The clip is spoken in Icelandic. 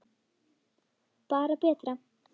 Bara betra.